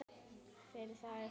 Fyrir það er þakkað.